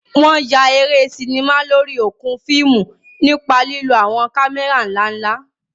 Wọn yà eré sinimá lórí okùn fíìmù nípa lílo àwọn kámẹ́rà ńlá ńlá.